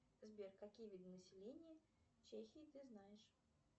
сбер какие виды населения чехии ты знаешь